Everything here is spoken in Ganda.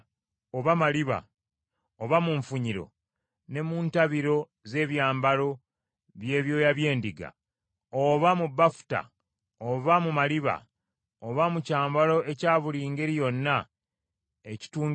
oba mu nfunyiro ne mu ntabiro z’ebyambalo by’ebyoya by’endiga, oba mu bafuta oba mu maliba, oba mu kyambalo ekya buli ngeri yonna ekitungiddwa mu maliba;